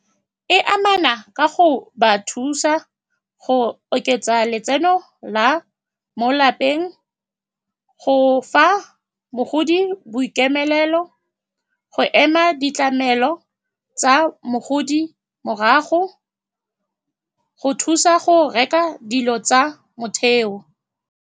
E amana ka go ba thusa go oketsa letseno la mo lapeng, go fa mogodi boikemelo, lefelo go ema ditlamelo tsa mogodi morago, go thusa go reka dilo tsa motheo.